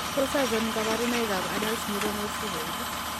Tos achon kabarunaik ab Adult neuronal ceroid ?